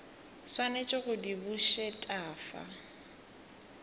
swanetše go di bušet afa